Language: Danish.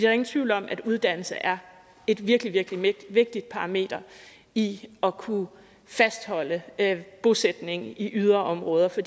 er ingen tvivl om at uddannelse er et virkelig virkelig vigtigt parameter i at kunne fastholde bosætning i yderområder for